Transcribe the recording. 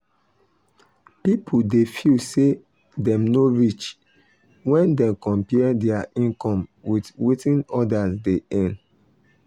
people dey feel say dem no reach when dem compare their income with wetin others dey earn.